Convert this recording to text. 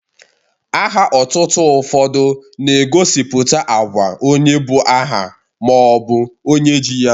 Aha otutu ụfọdụ na-egosipụta agwa onye bu aha ma ọ bụ onye ji ya.